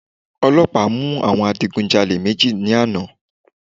Ọlọ́pàá mú àwọn adigun jalè méjì ní àná.